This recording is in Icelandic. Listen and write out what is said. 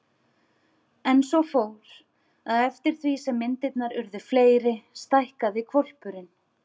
En svo fór, að eftir því sem myndirnar urðu fleiri stækkaði hvolpurinn.